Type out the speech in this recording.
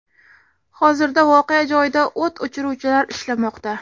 Hozirda voqea joyida o‘t o‘chiruvchilar ishlamoqda.